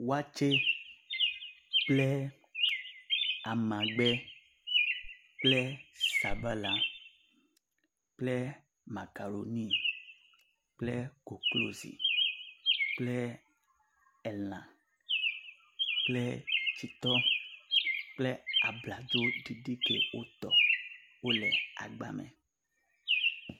Waatse, kple amagbe kple sabala kple makaroni kple koklozi kple elã, kple tsitɔ kple abladzo ɖiɖi ke wotɔ wole agba me